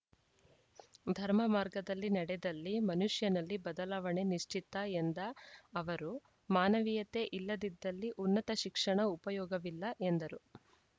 ಧರ್ಮ ಮಾರ್ಗದಲ್ಲಿ ನಡೆದಲ್ಲಿ ಮನುಷ್ಯನಲ್ಲಿ ಬದಲಾವಣೆ ನಿಶ್ಚಿತ ಎಂದ ಅವರು ಮಾನವೀಯತೆ ಇಲ್ಲದಿದ್ದಲ್ಲಿ ಉನ್ನತ ಶಿಕ್ಷಣ ಉಪಯೋಗವಿಲ್ಲ ಎಂದರು